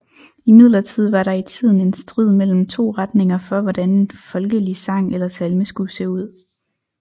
Imidlertid var der i tiden en strid mellem 2 retninger for hvordan en folkelig sang eller salme skulle se ud